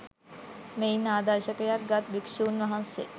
මෙයින් ආදර්ශයක් ගත් භික්ෂූන් වහන්සේ